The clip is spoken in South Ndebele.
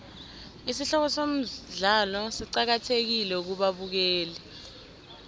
isihloko somdlalo siqakathekile kubabukeli